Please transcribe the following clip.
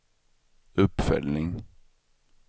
uppföljning